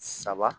Saba